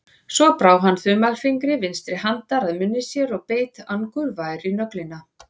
Svo brá hann þumalfingri vinstri handar að munni sér og beit angurvær í nöglina.